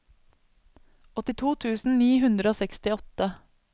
åttito tusen ni hundre og sekstiåtte